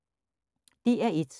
DR1